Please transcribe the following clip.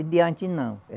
E de antes não.